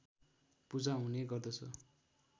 पूजा हुने गर्दछ